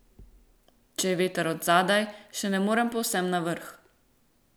Če je veter od zadaj, še ne morem povsem na vrhu.